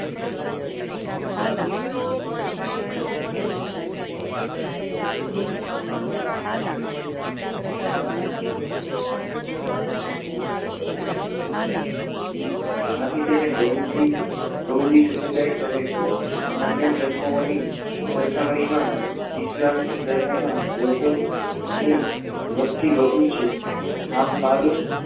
આથી તેને બહુદી બહુદી સમુદાય કહે છે અન્ય ધર્મની સરખામણીમાં ઇસ્લામ ધર્મમાં લોકો ની વસ્તી વધુ છે આમ માલૂમ